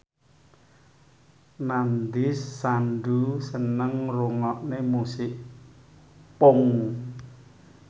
Nandish Sandhu seneng ngrungokne musik punk